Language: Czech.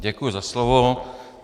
Děkuji za slovo.